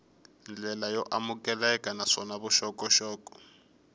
ndlela yo amukeleka naswona vuxokoxoko